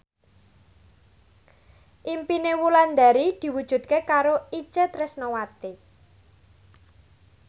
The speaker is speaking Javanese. impine Wulandari diwujudke karo Itje Tresnawati